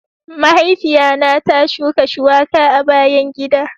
Mahaifiya na ta shuka shuwaka a bayan gida.